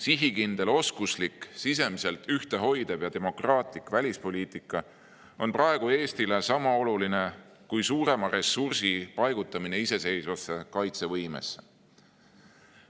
Sihikindel, oskuslik, sisemiselt ühtehoidev ja demokraatlik välispoliitika on praegu Eestile sama oluline kui suurema ressursi paigutamine iseseisvasse kaitsevõimesse.